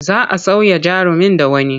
Za a sauya jarumin da wani.